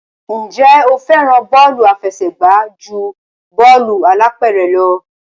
Ǹjẹ́ o fẹ́ràn bọ́ọ̀lù àfẹsẹ̀gbá ju bọ́ọ̀lù alápẹ̀rẹ̀ lọ?